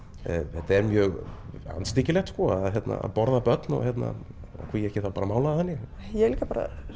þetta er mjög andstyggilegt að borða börn og hví ekki að mála það þannig ég er líka